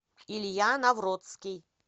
илья навроцкий